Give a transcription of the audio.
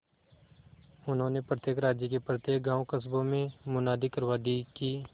उन्होंने प्रत्येक राज्य के प्रत्येक गांवकस्बों में मुनादी करवा दी कि